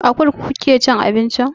A kurkuku kuke cin abinci?